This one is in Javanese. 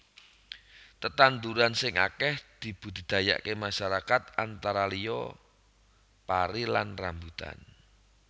Tetandhuran sing akèh dibudidayaaké masyarakat antara liya pari lan rambutan